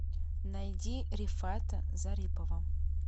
найди рифата зарипова